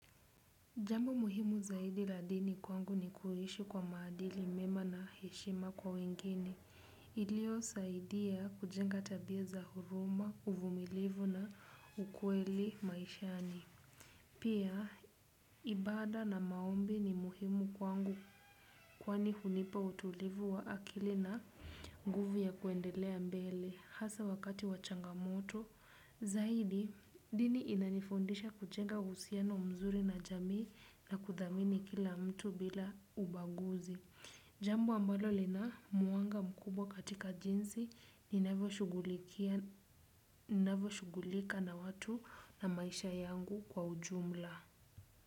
Jambo muhimu zaidi la dini kwangu ni kuishi kwa maadili mema na heshima kwa wengine. Ilio saidia kujenga tabia za huruma, uvumilivu na ukweli maishani. Pia, ibada na maombi ni muhimu kwangu kwani hunipa utulivu wa akili na nguvu ya kuendelea mbele. Hasa wakati wa changamoto, zaidi dini inanifundisha kujenga uhusiano mzuri na jamii na kuthamini kila mtu bila ubaguzi. Jambo ambalo lina mwanga mkubwa katika jinsi ninavyo shugulika na watu na maisha yangu kwa ujumla.